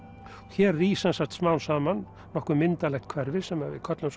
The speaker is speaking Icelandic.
hér rís sem sagt smám saman nokkuð myndarlegt hverfi sem við köllum